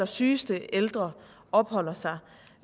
sygeste ældre opholder sig